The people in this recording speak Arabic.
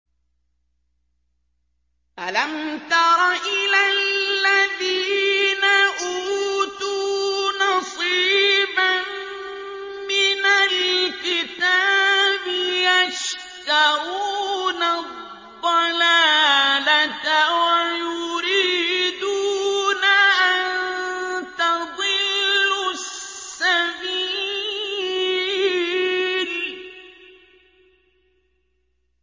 أَلَمْ تَرَ إِلَى الَّذِينَ أُوتُوا نَصِيبًا مِّنَ الْكِتَابِ يَشْتَرُونَ الضَّلَالَةَ وَيُرِيدُونَ أَن تَضِلُّوا السَّبِيلَ